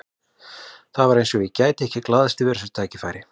Það var eins og ég gæti ekki glaðst yfir þessu tækifæri.